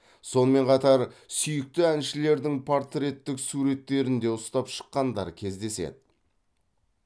сонымен қатар сүйікті әншілерінің портреттік суреттерін де ұстап шыққандар кездеседі